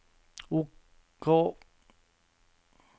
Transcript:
OK